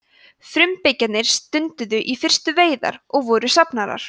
frumbyggjarnir stunduðu í fyrstu veiðar og voru safnarar